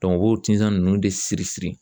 u b'o tinsan ninnu de siri siri